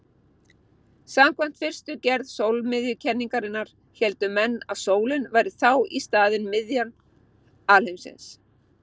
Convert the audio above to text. Samkvæmt fyrstu gerð sólmiðjukenningarinnar héldu menn að sólin væri þá í staðinn miðja alheimsins.